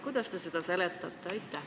Kuidas te seda seletate?